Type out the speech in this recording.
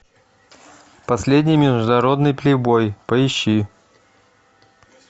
последний международный плейбой поищи